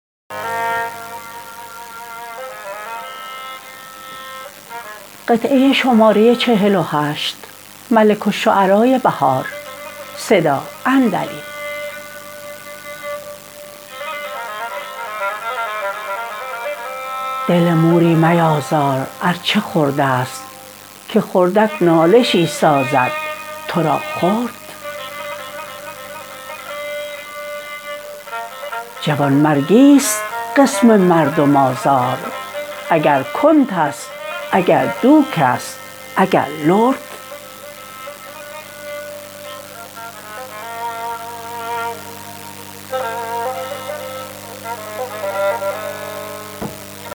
دل موری میازار ار چه خرد است که خردک نالشی سازد تو را خرد جوانمرگی است قسم مردم آزار اگر کنت است اگر دوک است اگر لرد